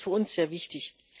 Das ist für uns sehr wichtig.